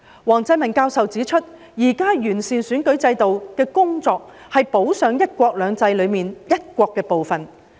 王振民教授指出，現時完善選舉制度的工作，是補上"一國兩制"中"一國"的部分。